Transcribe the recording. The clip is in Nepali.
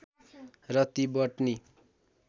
र ती बटनी